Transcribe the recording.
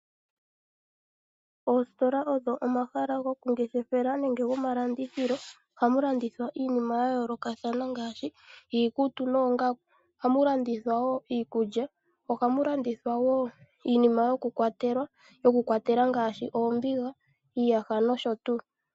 Oositola odho omahala goku ngeshefela nenge go malandithilo . Ohamu landithwa iinima ya yoolokathana ngaashi iikutu noongaku. Ohamu landithwa wo iikulya. Ohamu landithwa wo iinima yoku kwatela ngaashi oombiga , iiyaha nosho tuu.